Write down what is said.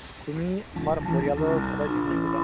তুমি তোমাৰ পৰিয়ালৰ সদয় ধ্য়ান ৰাখিবা ।